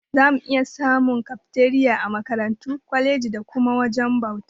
Zamu iya samun Kafteriya a Makarantu, kwalejoji da kuma wajajen bauta.